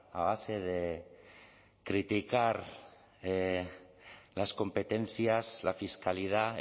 a base de criticar las competencias la fiscalidad